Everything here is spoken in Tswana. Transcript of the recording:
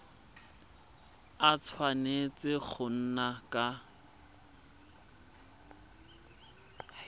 a tshwanetse go nna ka